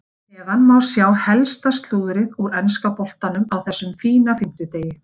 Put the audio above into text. Hér að neðan má sjá helsta slúðrið úr enska boltanum á þessum fína fimmtudegi.